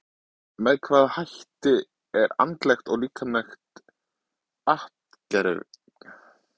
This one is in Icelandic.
Með hvaða hætti er andlegt og líkamlegt atgervi og heilbrigði gerðarbeiðanda skert?